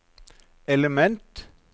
element